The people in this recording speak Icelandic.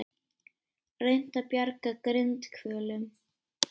Reynt að bjarga grindhvölum